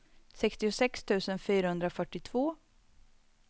sextiosex tusen fyrahundrafyrtiotvå